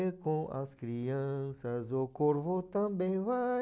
E com as crianças o corvo também vai.